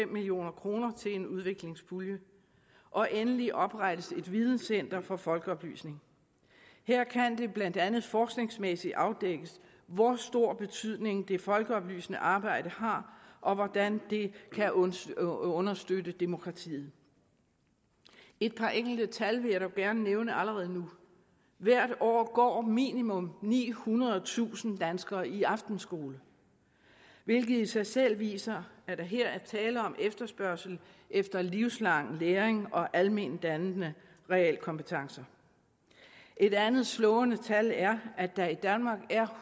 million kroner til en udviklingspulje og endelig oprettes et videncenter for folkeoplysning her kan det blandt andet forskningsmæssigt afdækkes hvor stor betydning det folkeoplysende arbejde har og hvordan det kan understøtte understøtte demokratiet et par enkelte tal vil jeg dog gerne nævne allerede nu hvert år går minimum nihundredetusind danskere i aftenskole hvilket i sig selv viser at der her er tale om efterspørgsel efter livslang læring og alment dannende realkompetencer et andet slående tal er at der i danmark er